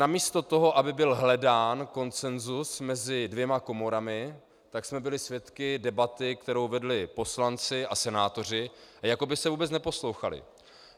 Namísto toho, aby byl hledán konsensus mezi dvěma komorami, tak jsme byli svědky debaty, kterou vedli poslanci a senátoři, a jako by se vůbec neposlouchali.